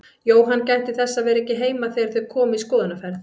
Jóhann gætti þess að vera ekki heima þegar þau komu í skoðunarferð.